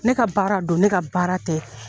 Ne ka baara do ne ka baara tɛ